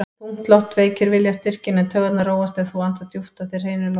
Þung loft veikir viljastyrkinn, en taugarnar róast ef þú andar djúpt að þér hreinu lofti.